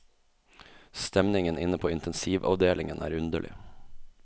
Stemningen inne på intensivavdelingen er underlig.